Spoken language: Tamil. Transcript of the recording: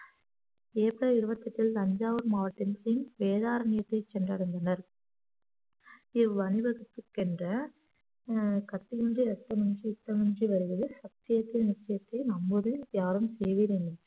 ஏப்ரல் இருபத்தி எட்டில் தஞ்சாவூர் மாவட்டம் பின் வேதாரண்யத்தை சென்றடைந்தனர் இவ்வணிவகுப்புக்கு சென்ற அஹ் கத்தியின்றி ரத்தமின்றி யுத்தம் ஒன்று வருகிறது சத்தியத்தின் நித்தியத்தை நம்பும் யாரும் சேருவீர் எனும்